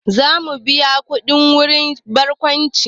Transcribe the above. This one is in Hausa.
Za mu biya kuɗin shiga wurin barkwanci